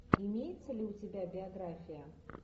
имеется ли у тебя биография